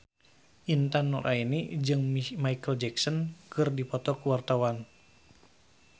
Intan Nuraini jeung Micheal Jackson keur dipoto ku wartawan